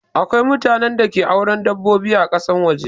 Akwai mutanen da ke auren dabbobi ã kasan waje.